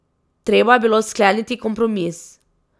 Treba je bilo skleniti kompromis.